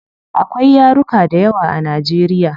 Akwai yaruka dayawa a nigeria